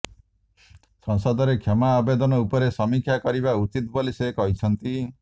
ସଂସଦରେ କ୍ଷମା ଆବେଦନ ଉପରେ ସମୀକ୍ଷା କରିବା ଉଚିତ ବୋଲି ସେ କହିଛନ୍ତି